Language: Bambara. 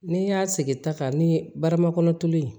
N'i y'a sigi ta kan ni baramakɔnɔ tulu ye